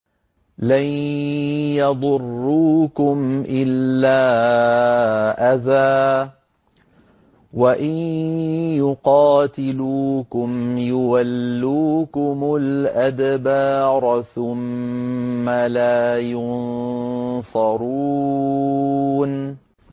لَن يَضُرُّوكُمْ إِلَّا أَذًى ۖ وَإِن يُقَاتِلُوكُمْ يُوَلُّوكُمُ الْأَدْبَارَ ثُمَّ لَا يُنصَرُونَ